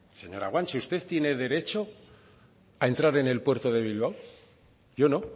señora guanche usted tiene derecho a entrar en el puerto de bilbao yo no